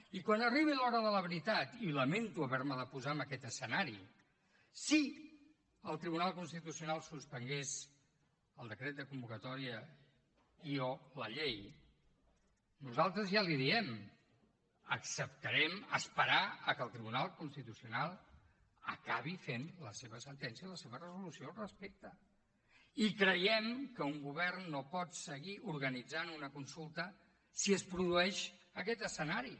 i quan arribi l’hora de la veritat i lamento haver me de posar en aquest escenari si el tribunal constitucional suspengués el decret de convocatòria i o la llei nosaltres ja li ho diem acceptarem esperar que el tribunal constitucional acabi fent la seva sentència i la seva resolució al respecte i creiem que un govern no pot seguir organitzant una consulta si es produeix aquest escenari